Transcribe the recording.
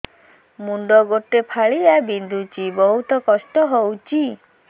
ମୁଣ୍ଡ ଗୋଟେ ଫାଳିଆ ବିନ୍ଧୁଚି ବହୁତ କଷ୍ଟ ହଉଚି